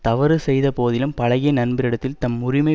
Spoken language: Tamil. தவறு செய்த போதிலும்பழகிய நண்பரிடத்தில் தம் உரிமை